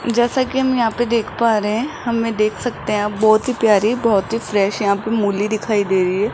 जैसा कि हम यहां पे देख पा रहे हैं हमें देख सकते हैं आप बहुत ही प्यारी बहुत ही फ्रेश है यहां पर मूली दिखाई दे रही है।